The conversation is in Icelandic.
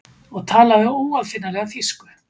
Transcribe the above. og talaði óaðfinnanlega þýsku.